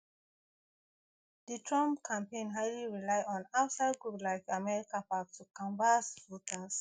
di trump campaign highly rely on outside group like americapac to canvas voters